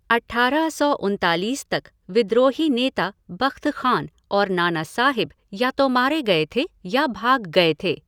अठारह सौ उनतालीस तक, विद्रोही नेता बख़्त ख़ान और नाना साहिब या तो मारे गए थे या भाग गए थे।